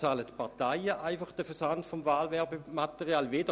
Die Parteien bezahlen den Versand des Wahlwerbematerials selber;